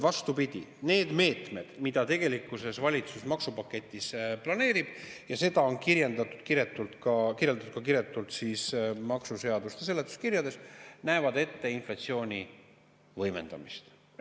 Vastupidi, need meetmed, mida valitsus tegelikus maksupaketis planeerib – ja seda on kirjeldatud kiretult ka maksuseaduste seletuskirjades –, näevad ette inflatsiooni võimendamist.